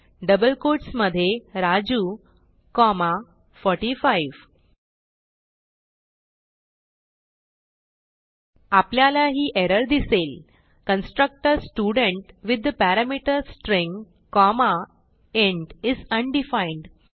double quotes मधे Raju comma 45 आपल्याला ही एरर दिसेल constructor student with the parameter string comma int is undefined